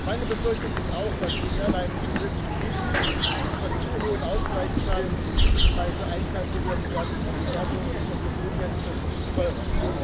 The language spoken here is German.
Meine Befürchtung ist auch, dass die Airlines die möglichen Risiken von zu hohen Ausgleichszahlungen in die Ticketpreise einkalkulieren werden. Ergo wird es für Fluggäste teurer.